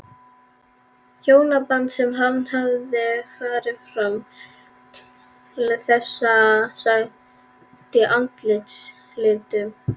Hjónaband sem hann hafði fram til þessa sagt í andarslitrunum.